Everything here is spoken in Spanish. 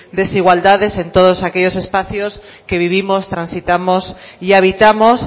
desigualdades en todos aquellos espacios que vivimos transitamos y habitamos